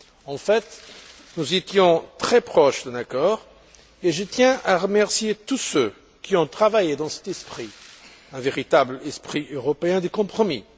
En fait, nous étions très proches d'un accord et je tiens à remercier tous ceux qui ont travaillé dans cet esprit, un véritable esprit européen de compromis.